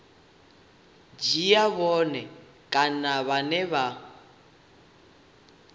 dzhia vhone vhane kana vha